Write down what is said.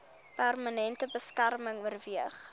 permanente beskerming oorweeg